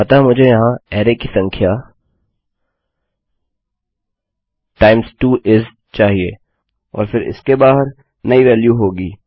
अतः मुझे यहाँ अरै की संख्या टाइम्स 2 इस चाहिए और फिर इसके बाहर नई वेल्यू होगी